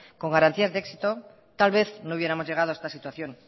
con garantías de éxito tal vez no hubiéramos llegado a esta situación